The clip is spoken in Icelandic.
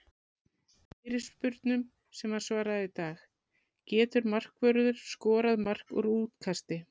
Fyrirspurnum sem var svarað í dag:- Getur markvörður skorað mark úr útkasti?